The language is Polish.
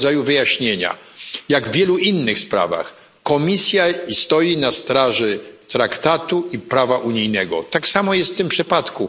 Jak w wielu innych sprawach Komisja stoi na straży traktatów i prawa unijnego, tak samo jest w tym przypadku.